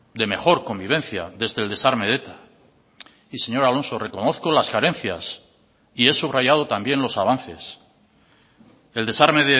de mejor convivencia desde el desarme de eta y señor alonso reconozco las carencias y he subrayado también los avances el desarme